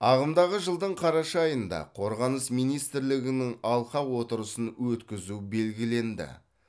ағымдағы жылдың қараша айында қорғаныс министрлігінің алқа отырысын өткізу белгіленді